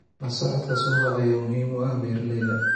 La socodka suuqa ayaa muhiim u ah beeralayda.